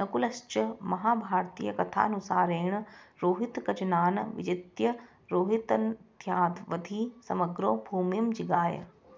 नकुलश्च महाभारतीयकथानुसारेण रोहितकजनान् विजित्य रोहितनद्यावधि समग्रो भूमिं जिगाय